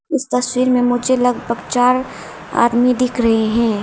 इस तस्वीर में मुझे लगभग चार आदमी दिख रहे हैं।